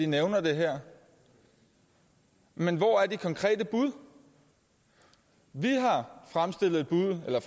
nævner det her men hvor er de konkrete bud vi